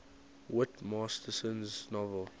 whit masterson's novel